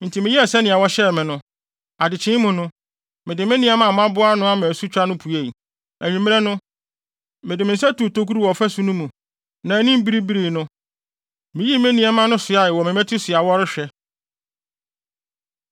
Enti meyɛɛ sɛnea wɔhyɛɛ me no. Adekyee mu no, mede me nneɛma a maboa ano ama asutwa no puei. Anwummere no, mede me nsa tuu tokuru wɔ ɔfasu no mu, na anim biribirii no, miyii me nneɛma no soaa wɔ me mmati so a wɔrehwɛ.